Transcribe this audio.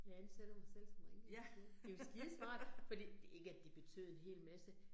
Jeg ansætter mig selv som rengørinshjælp, det jo skidesmart, fordi ikke at det betød en hel masse